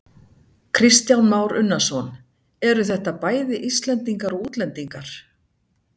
Kristján Már Unnarsson: Eru þetta bæði Íslendingar og útlendingar?